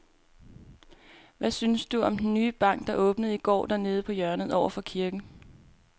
Hvad synes du om den nye bank, der åbnede i går dernede på hjørnet over for kirken?